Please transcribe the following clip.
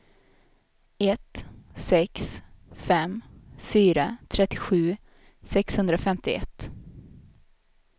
ett sex fem fyra trettiosju sexhundrafemtioett